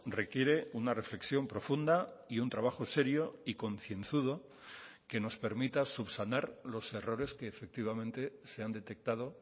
requiere una reflexión profunda y un trabajo serio y concienzudo que nos permita subsanar los errores que efectivamente se han detectado